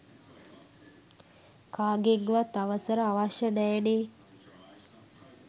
කාගෙන්වත් අවසර අවශ්‍ය නෑනේ.